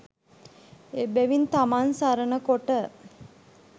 එබැවින් තමන් සරණ කොට